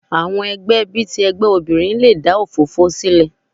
Àwọn ẹgbẹ́ bí i ti ẹgbẹ́ obìnrin le dà òfófó sílẹ̀.